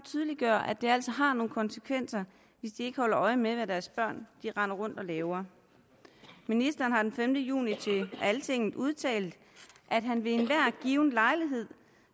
tydeliggøre at det altså har nogle konsekvenser hvis de ikke holder øje med hvad deres børn render rundt og laver ministeren har den femte juni til altinget udtalt at han ved enhver given lejlighed